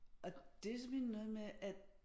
Og det simpelthen noget med at